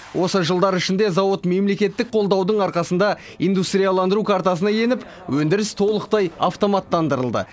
осы жылдар ішінде зауыт мемлекеттік қолдаудың арқасында индустрияландыру картасына еніп өндіріс толықтай автоматтандырылды